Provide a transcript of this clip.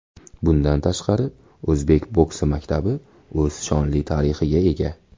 Bundan tashqari, o‘zbek boksi maktabi o‘z shonli tarixiga ega.